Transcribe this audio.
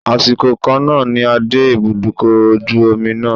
Àsìkò kan náà ni a dé ibùdókọ̀ ojú omi náà.